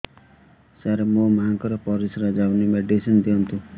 ସାର ମୋର ମାଆଙ୍କର ପରିସ୍ରା ଯାଉନି ମେଡିସିନ ଦିଅନ୍ତୁ